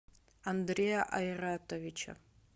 андрея айратовича